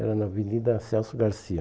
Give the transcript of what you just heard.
Era na Avenida Celso Garcia.